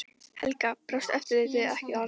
Helga: Brást eftirlitið ekki þarna?